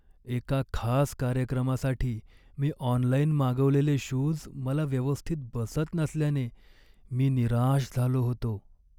एका खास कार्यक्रमासाठी मी ऑनलाइन मागवलेले शूज मला व्यवस्थित बसत नसल्याने मी निराश झालो होतो.